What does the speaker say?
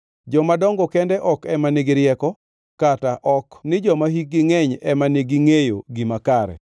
Jomadongo kende ok ema nigi rieko, kata ok ni joma hikgi ngʼeny ema nigi ongʼeyo gima kare.